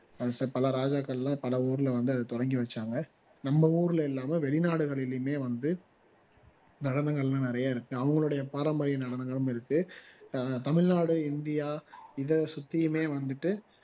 பல ராஜாக்கள் எல்லாம் பல ஊருல வந்து அதை தொடங்கி வச்சாங்க நம்ம ஊருல இல்லாம வெளிநாடுகளிலுமே வந்து நடனங்கள் எல்லாம் நிறைய இருக்கு அவங்களுடைய பாரம்பரிய நடனங்களும் இருக்கு தமிழ்நாடு இந்தியா இதை சுத்தியுமே வந்துட்டு